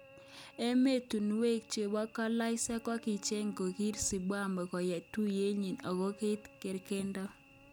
Emotunwek chebo dolaishek akicheg kokiter Zimbabwe koyai tuyet nyin okoi koit kergeindo.